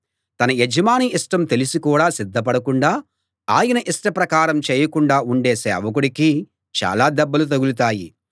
తన యజమాని ఇష్టం తెలిసి కూడా సిద్ధపడకుండా ఆయన ఇష్ట ప్రకారం చేయకుండా ఉండే సేవకుడికి చాలా దెబ్బలు తగులుతాయి